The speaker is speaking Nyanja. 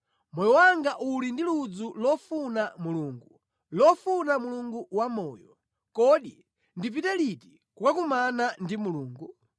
Moyo wanga uli ndi ludzu lofuna Mulungu, lofuna Mulungu wamoyo. Kodi ndipite liti kukakumana ndi Mulungu?